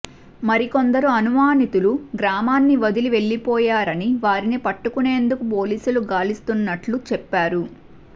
మరికొందరు అనుమానితులు గ్రామాన్ని వదిలి వెళ్లిపోయారని వారిని పట్టుకునేందుకు పోలీసులు గాలిస్తున్నట్లు చెప్పారు